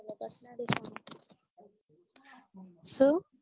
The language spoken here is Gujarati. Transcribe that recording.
શું